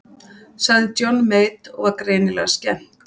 Sagði Johnny Mate og var greinilega skemmt.